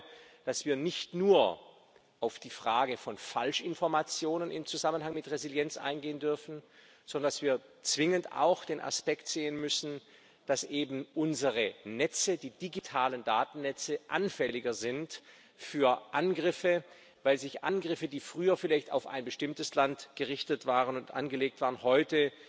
Ich glaube, dass wir nicht nur auf die Frage von Falschinformationen im Zusammenhang mit Resilienz eingehen dürfen, sondern dass wir zwingend auch den Aspekt sehen müssen, dass eben unsere Netze, die digitalen Datennetze, anfälliger sind für Angriffe, weil sich Angriffe, die früher vielleicht auf ein bestimmtes Land gerichtet und angelegt waren, heute